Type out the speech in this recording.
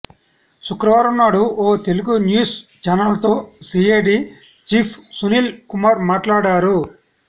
శుక్రవారం నాడు ఓ తెలుగు న్యూస్ ఛానల్ తో సీఐడీ చీఫ్ సునీల్ కుమార్ మాట్లాడారు